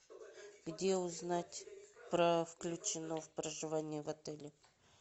где узнать про включено в проживание в отеле